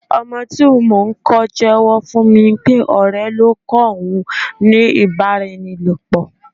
Ọmọ tí mò ń kó jewo fún mi pé ọ̀rẹ́ ló kọ́ òun ní ibaraenilopo.